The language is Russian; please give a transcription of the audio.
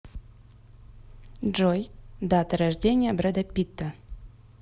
джой дата рождения брэда питта